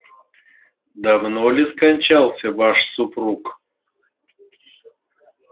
давно ли скончался ваш супруг